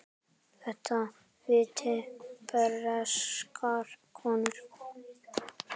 Þetta vita breskar konur.